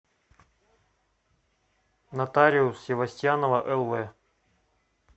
нотариус севостьянова лв